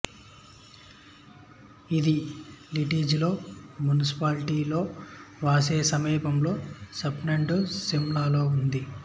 ఇది లిటిజాలో మున్సిపాలిటీలో వాసే సమీపంలో స్పాండ్నోజా స్లివ్నాలో ఉంది